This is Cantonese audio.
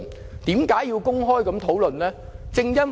為甚麼要作公開討論呢？